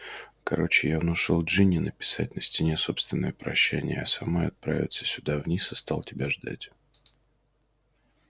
короче я внушил джинни написать на стене собственное прощание а самой отправиться сюда вниз и стал тебя ждать